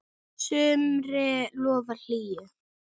sumri lofar hlýju.